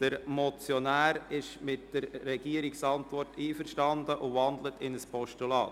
Der Motionär ist mit der Regierungsantwort einverstanden und wandelt sie in ein Postulat um.